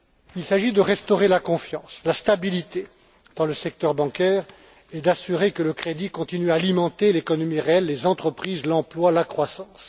Il s'agit de restaurer la confiance, la stabilité dans le secteur bancaire, et d'assurer que le crédit continue à alimenter l'économie réelle, les entreprises, l'emploi, la croissance.